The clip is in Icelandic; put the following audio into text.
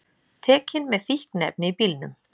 Tekin með fíkniefni í bílnum